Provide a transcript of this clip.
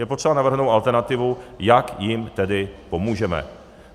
Je potřeba navrhnout alternativu, jak jim tedy pomůžeme.